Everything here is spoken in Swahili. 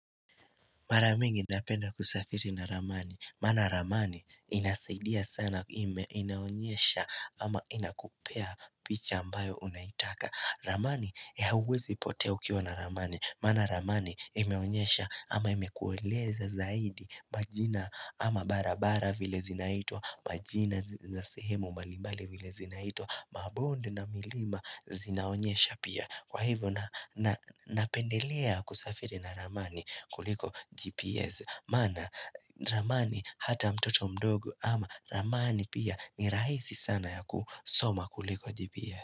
Mara mingi napenda kusafiri na ramani. Maana ramani inasaidia sana ime inaonyesha ama inakupea picha ambayo unaitaka. Ramani ya huwezi potea ukiwa na ramani. Maana ramani imeonyesha ama imekueleza zaidi majina ama bara bara vile zinaitwa. Majina za sehemu mbalimbali vile zinaitwa. Mabonde na milima zinaonyesha pia. Kwa hivyo na napendelea kusafiri na ramani kuliko GPS maana ramani hata mtoto mdogo ama ramani pia ni rahisi sana ya kusoma kuliko GPS.